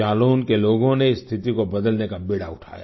जालौन के लोगों ने इस स्थिति को बदलने का बीड़ा उठाया